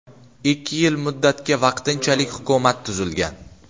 Ikki yil muddatga vaqtinchalik hukumat tuzilgan.